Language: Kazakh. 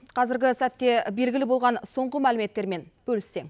қазіргі сәтте белгілі болған соңғы мәліметтермен бөліссең